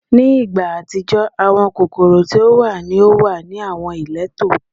Ni igba atijọ, awọn kokoro ti o wa ni o wa ni awọn ileto